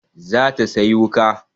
Za ta sayi wuƙa.